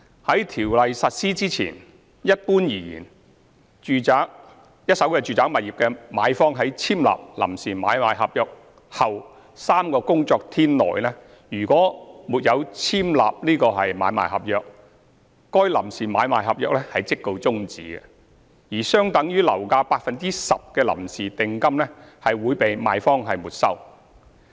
在《條例》實施前，一般而言，若一手住宅物業的買方在簽立臨時買賣合約後3個工作天內沒有簽立買賣合約，該臨時買賣合約即告終止，而相等於樓價的 10% 的臨時訂金會被賣方沒收。